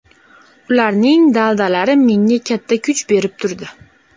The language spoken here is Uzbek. Ularning daldalari menga katta kuch berib turdi.